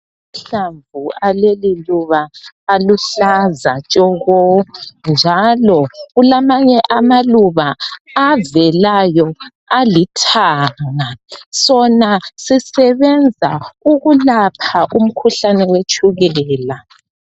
Amahlamvu aleli luba aluhlaza tshoko njalo kulamanye amaluba avelayo alithanga .Sona sisebenza ukulapha umkhuhlane wetshukela. .